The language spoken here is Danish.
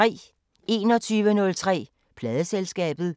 21:03: Pladeselskabet